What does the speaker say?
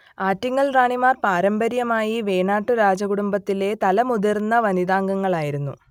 ആറ്റിങ്ങൽ റാണിമാർ പാരമ്പര്യമായി വേണാട്ടു രാജകുടുംബത്തിലെ തലമുതിർന്ന വനിതാംഗങ്ങൾ ആയിരുന്നു